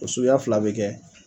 O suguya fila be kɛ